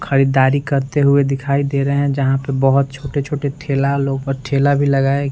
ख़रीददारी करते हुए दिखाई दे रहे हैं जहाँ पे बहोत छोटे-छोटे ठेला वाले ऊपर ठेला भी लगाए --